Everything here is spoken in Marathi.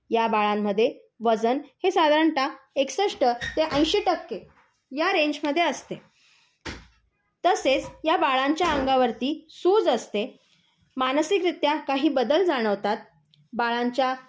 या बाळांमध्ये वजन हे साधारणतः एकसष्ठ ते ऐशी टक्के या रेंजमध्ये असते. तसेच या बाळांच्याअंगावरती सूज असते. मानसिकरित्या काही बदल जाणवतात. बाळांच्या